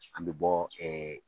An bɛ bɔ